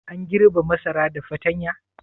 An girbe masara da fatanya?